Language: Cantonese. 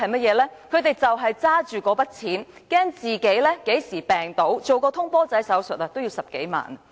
就是他們拿着那筆錢，擔心自己何時病倒，做"通波仔"手術也要10多萬元。